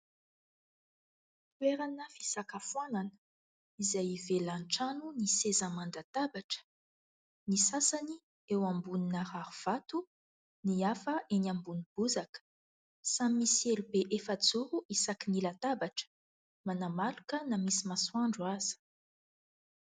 Toerana fisakafoanana izay hivelan'ny trano ny seza aman-databatra, ny sasany eo ambonina rarivato ny hafa eny ambony bozaka, samy misy elo be efajoro isaky ny latabatra, manamaloka na misy masoandro aza.